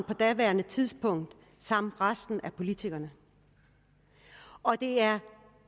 på daværende tidspunkt og resten af politikerne og det er